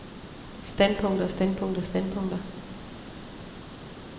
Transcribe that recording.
standpunkter standpunkter standpunkter